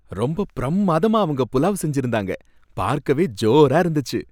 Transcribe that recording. ரொம்ப பிரம்மாதமா அவங்க புலாவ் செஞ்சிருந்தாங்க, பார்க்கவே ஜோரா இருந்துச்சு!